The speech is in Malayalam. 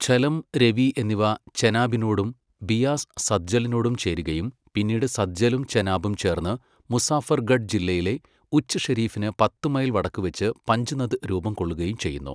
ഝലം, രവി എന്നിവ ചെനാബിനോടും ബിയാസ് സത്ലജിനോടും ചേരുകയും പിന്നീട് സത്ലജും ചെനാബും ചേർന്ന് മുസാഫർഗഡ് ജില്ലയിലെ ഉച്ച് ഷെരീഫിന് പത്ത് മൈൽ വടക്കുവെച്ച് പഞ്ച്നദ് രൂപം കൊള്ളുകയും ചെയ്യുന്നു.